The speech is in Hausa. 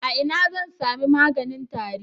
A ina zan sami maganin tari?